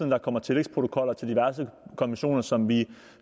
der kommer tillægsprotokoller til diverse konventioner som vi